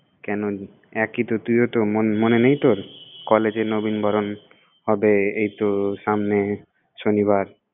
কেনো একই তো, তুইও তো মন~ মনে নেই তোর? college এ নবীনবরণ হবে, এই তো সামনে শনিবার।